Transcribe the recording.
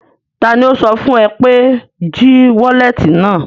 Taani ó sọ fún ẹ pé mo jí wọ́lẹ́tì náà?